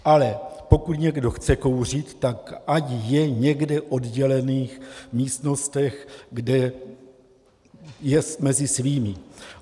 Ale pokud někdo chce kouřit, tak ať je někde v oddělených místnostech, kde je mezi svými.